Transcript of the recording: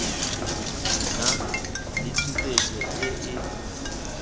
nna le tshupetso e e